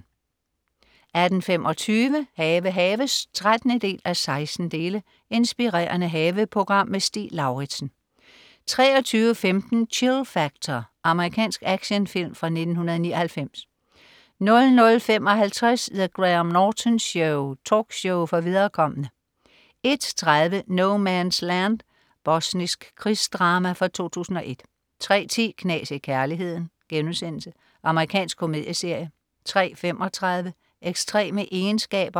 18.25 Have haves 13:16. Inspirerende haveprogram. Stig Lauritsen 23.15 Chill Factor.. Amerikansk actionfilm fra 1999 00.55 The Graham Norton Show. Talkshow for viderekomne 01.30 No Man's Land. Bosnisk krigsdrama fra 2001 03.10 Knas i kærligheden.* Amerikansk komedieserie 03.35 Ekstreme egenskaber